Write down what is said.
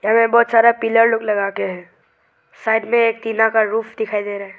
यहाँ में बहुत सारा पिल्लर लोग लगाके हैं साइड में एक टीना का रूफ दिखाई दे रहा है।